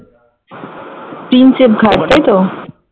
Prinsep Ghat তাইতো?